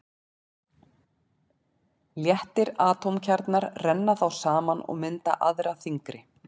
Léttir atómkjarnar renna þá saman og mynda aðra þyngri.